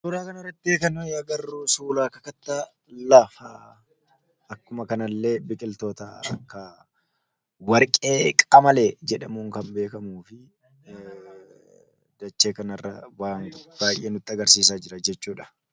Suuraa kana arratti kan arginu suuraa kakattaa lafaa akkuma kana illee biqiltoota akka warqee qamalee jedhamuun kan beekamu fi dachee kanirra waan baay'ee nutti agarsiisaa jira jechuudha.